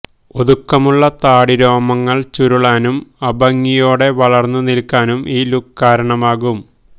ഒതുക്കമുള്ള താടിരോമങ്ങള് ചുരുളാനും അഭംഗിയോടെ വളർന്നു നിൽക്കാനും ഈ ലുക് കാരണമാകും